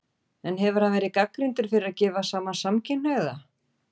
En hefur hann verið gagnrýndur fyrir að gefa saman samkynhneigða?